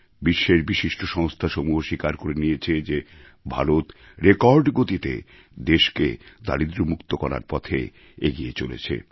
বিশ্বের বিশিষ্ট সংস্থাসমূহ স্বীকার করে নিয়েছে যে ভারত রেকর্ড গতিতে দেশকে দারিদ্র্যমুক্ত করার পথে এগিয়ে চলেছে